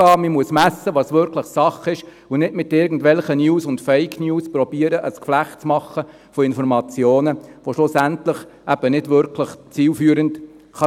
man muss messen, was wirklich Sache ist, und nicht mit irgendwelchen News und Fake News versuchen, ein Geflecht von Informationen zu machen, das schlussendlich eben nicht wirklich zielführend sein kann.